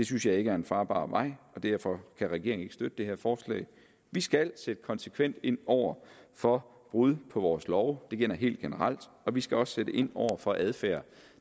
synes jeg ikke er en farbar vej og derfor kan regeringen ikke støtte det her forslag vi skal sætte konsekvent ind over for brud på vores love og det gælder helt generelt og vi skal også sætte ind over for adfærd